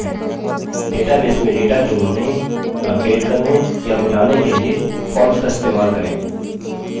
database में data जोड़ने update करने या मिटाने के लिए forms का इस्तेमाल करें